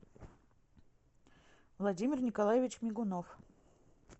владимир николаевич мигунов